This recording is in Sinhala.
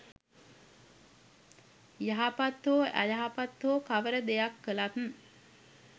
යහපත් හෝ අයහපත් හෝ කවර දෙයක් කළත්